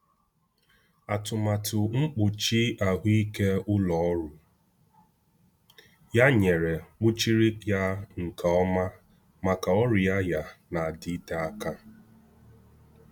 Atụmatụ mkpuchi ahụike ụlọ ọrụ ya nyere kpuchiri ya nke ọma maka ọrịa ya na-adịte aka.